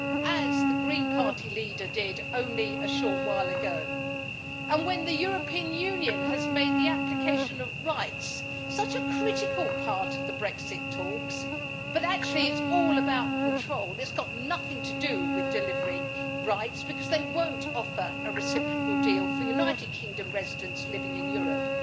as the Green Party leader did only a short while ago, and when the European Union has made the application of rights such a critical part of the Brexit talks, actually it is all about control and has got nothing to do with delivering rights because they will not offer a reciprocal deal for United Kingdom residents living in Europe.